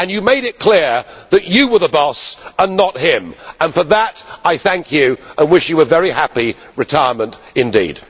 You made it clear that you were the boss and not him, and for that I thank you and wish you a very happy retirement indeed.